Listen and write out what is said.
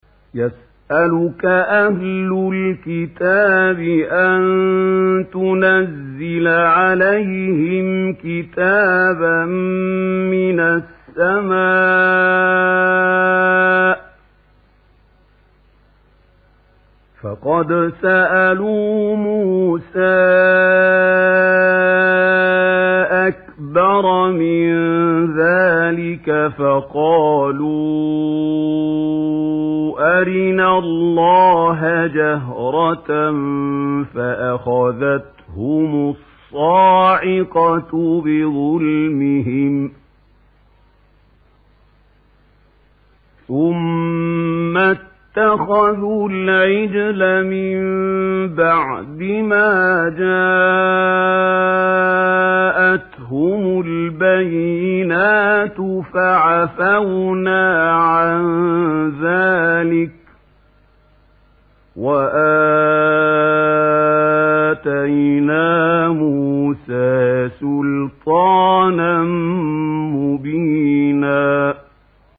يَسْأَلُكَ أَهْلُ الْكِتَابِ أَن تُنَزِّلَ عَلَيْهِمْ كِتَابًا مِّنَ السَّمَاءِ ۚ فَقَدْ سَأَلُوا مُوسَىٰ أَكْبَرَ مِن ذَٰلِكَ فَقَالُوا أَرِنَا اللَّهَ جَهْرَةً فَأَخَذَتْهُمُ الصَّاعِقَةُ بِظُلْمِهِمْ ۚ ثُمَّ اتَّخَذُوا الْعِجْلَ مِن بَعْدِ مَا جَاءَتْهُمُ الْبَيِّنَاتُ فَعَفَوْنَا عَن ذَٰلِكَ ۚ وَآتَيْنَا مُوسَىٰ سُلْطَانًا مُّبِينًا